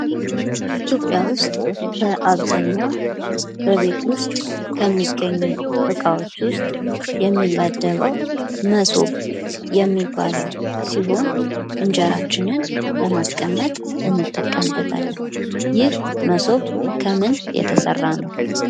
ኢትዮጵያ ውስጥ በአብዛኛው በቤት ውስጥ ከሚገኙ እቃዎች ውስጥ የሚመደበው መሶብ የሚባለው ሲሆን እንጀራችንን ለማስቀመጥ እንጠቀምበታለን። ይህ መሶብ ከምን የተሰራ ነው?